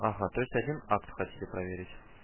ага то есть один акт хотите проверить